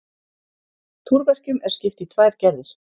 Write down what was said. Túrverkjum er skipt í tvær gerðir.